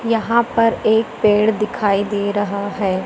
यहां पर एक पेड़ दिखाई दे रहा है।